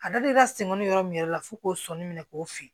A dalen ka sen kɔni yɔrɔ min yɛrɛ la f'u k'o sɔnni minɛ k'o fili